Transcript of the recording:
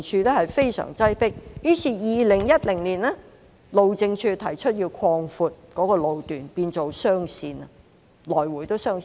於是，路政署於2010年提出擴闊該路段，改為來回也是雙線。